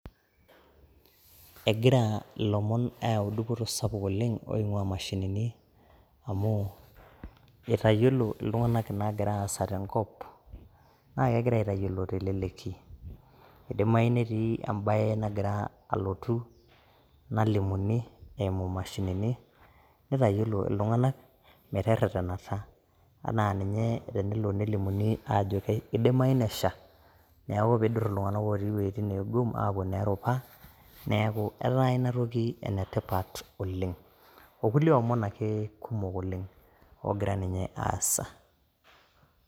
egira ilomon aayau dupoto sapuk oleng' oing'uaa imashinini amu eitayiolo iltunganak inaagira aasa tenkop naa kegira aitayiolo telelki. idimayu netii ebae nagira alotu nalimuni, eimu imashinini, neitayiolo iltunganak metereranata. anaa ninye tenelo nelimuni aajo kidimayu nesha. neeku pee idur iltunganak otii iwuejitin neegum aapuo ineerupa, neeku etaa ina toki enetipat oleng. okulie omon ake kumok oleng ogira ninye aasa.